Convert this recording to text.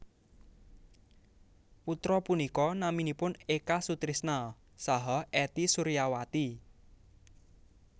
Putra punika naminipun Eka Sutrisna saha Ety Suryawati